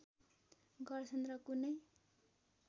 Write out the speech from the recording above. गर्छन् र कुनै